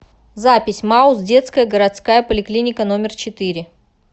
запись мауз детская городская поликлиника номер четыре